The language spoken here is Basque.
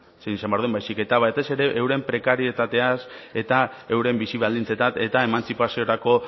zein izan behar duen baizik eta batez ere euren prekarietateaz eta euren bizi baldintzetaz eta emantzipaziorako